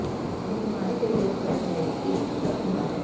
ਦੀ ਬਿਮਾਰੀ ਦੇ ਲੋਕ ਕਰਨ ਲਈ ਇੱਕ ਖ਼ਤਰਾ ਹੁੰਦਾ ਹੈ